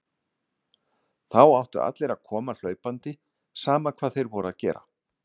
Þá áttu allir að koma hlaupandi, sama hvað þeir voru að gera.